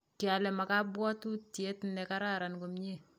kialee maa kabwotutie nekararan komie